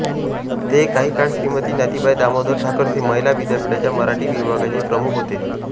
ते काही काळ श्रीमती नाथीबाई दामोदर ठाकरसी महिला विद्यापीठाच्या मराठी विभागाचे प्रमुख होते